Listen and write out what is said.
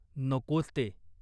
नकोच ते.